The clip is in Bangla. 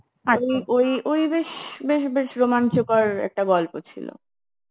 ওই ওই ওই বেশ বেশ রোমাঞ্চকর একটা গল্প ছিল